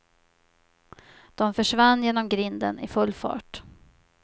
De försvann genom grinden i full fart.